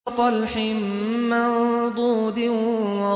وَطَلْحٍ مَّنضُودٍ